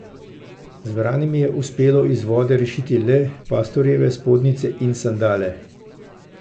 Zbranim je uspelo iz vode rešiti le pastorjeve spodnjice in sandale.